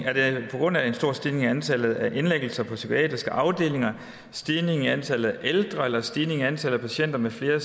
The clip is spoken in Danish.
er det på grund af en stor stigning i antallet af indlæggelser på psykiatriske afdelinger en stigning i antallet af ældre eller en stigning i antallet af patienter med flere